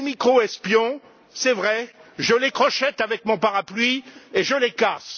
Mais les micros espions, c'est vrai, je les crochète avec mon parapluie et je les casse!